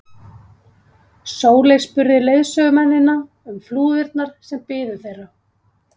Sóley spurði leiðsögumennina um flúðirnar sem biðu þeirra.